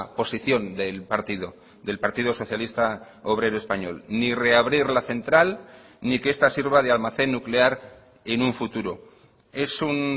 posición del partido del partido socialista obrero español ni reabrir la central ni que esta sirva de almacén nuclear en un futuro es un